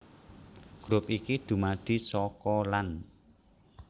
Grup iki dumadi saka lan